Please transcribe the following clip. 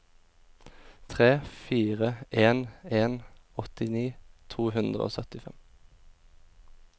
tre fire en en åttini to hundre og syttifem